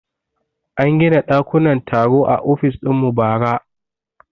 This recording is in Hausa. An gina dakunan taro a ofis dinmu bara